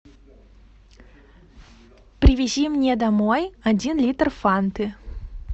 привези мне домой один литр фанты